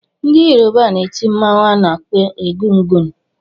Ndị Yoruba na-eti mọnwụ a na-akpọ egungun